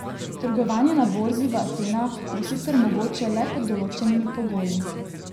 Trgovanje na borzi v Atenah bo sicer mogoče le pod določenimi pogoji.